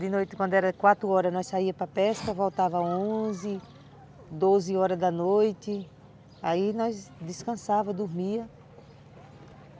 De noite, quando era quatro horas, nós saíamos para pesca, voltávamos onze, doze horas da noite, aí nós descansávamos, dormíamos.